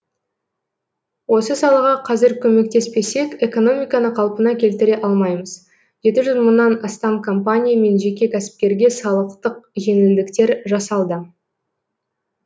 осы салаға қазір көмектеспесек экономиканы қалпына келтіре алмаймыз жеті жүз мыңнан астам компания мен жеке кәсіпкерге салықтық жеңілдіктер жасалды